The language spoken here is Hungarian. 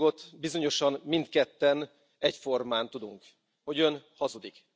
Egy dolgot bizonyosan mindketten egyformán tudunk hogy ön hazudik.